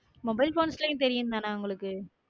Mobile phones லயே தெரியும் தானே உங்களுக்கு?